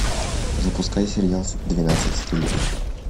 запускай сериал двенадцать стульев